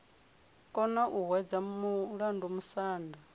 kona u hwedza mulandu musanda